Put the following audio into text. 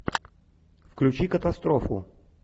включи катастрофу